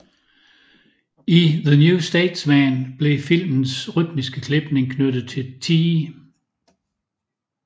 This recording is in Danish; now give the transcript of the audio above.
I the New Statesman blev filmens rytmiske klipning knyttet til T